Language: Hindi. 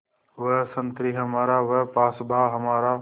वह संतरी हमारा वह पासबाँ हमारा